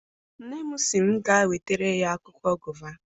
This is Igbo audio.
Nne m sị m gaa wetara ya akwụkwọ gova.